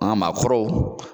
An ka maakɔrɔw